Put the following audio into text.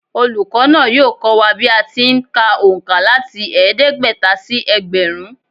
Olùkọ́ náà yóò kọ́ wa bí a ti ń kà òǹkà láti ẹ̀ẹ́dẹ́gbẹ̀ta sí ẹgbẹ̀rún